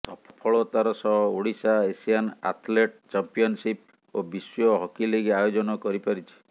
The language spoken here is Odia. ସଫଳତାର ସହ ଓଡିଶା ଏସିଆନ୍ ଆଥ୍ଲେଟ୍ ଚାମ୍ପିଅନ୍ସିପ୍ ଓ ବିଶ୍ୱ ହକି ଲିଗ୍ ଆୟୋଜନ କରିପାରିଛି